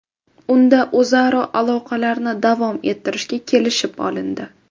Unda o‘zaro aloqalarni davom ettirishga kelishib olindi.